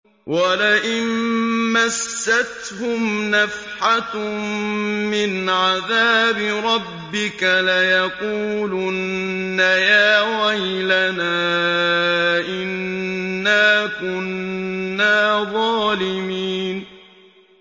وَلَئِن مَّسَّتْهُمْ نَفْحَةٌ مِّنْ عَذَابِ رَبِّكَ لَيَقُولُنَّ يَا وَيْلَنَا إِنَّا كُنَّا ظَالِمِينَ